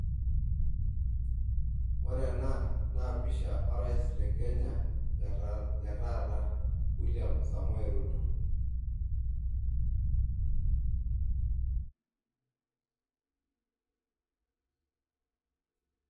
Ore ena naa pisha o rais le Kenya le taata William Samoe Ruto.